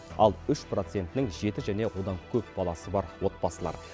ал үш процентінің жеті және одан көп баласы бар отбасылар